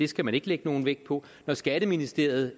skal man ikke lægge nogen vægt på når skatteministeriet